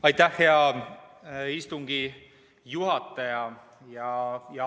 Aitäh, hea istungi juhataja!